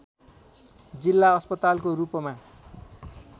जिल्ला अस्पतालको रूपमा